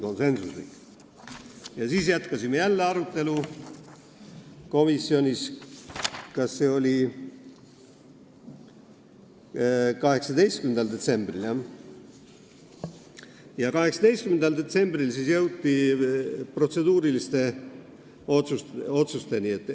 Seejärel jätkasime jälle arutelu komisjonis 18. detsembril ja siis jõuti protseduuriliste otsusteni.